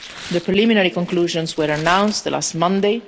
The preliminary conclusions were announced last Monday.